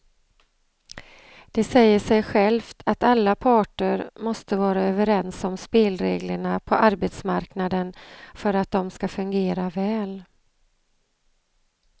Det säger sig självt att alla parter måste vara överens om spelreglerna på arbetsmarknaden för att de ska fungera väl.